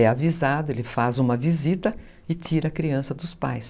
É avisado, ele faz uma visita e tira a criança dos pais.